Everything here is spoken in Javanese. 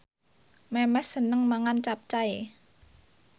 Memes seneng mangan capcay